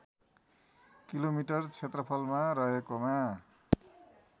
kilometre क्षेत्रफलमा रहेकोमा